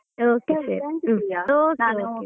Okay ಹಾಗಾದ್ರೆ .